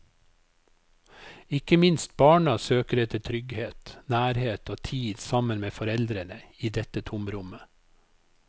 Ikke minst barna søker etter trygghet, nærhet og tid sammen med foreldrene i dette tomrommet.